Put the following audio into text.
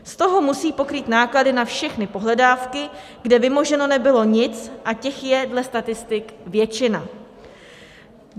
Z toho musí pokrýt náklady na všechny pohledávky, kde vymoženo nebylo nic, a těch je dle statistik většina.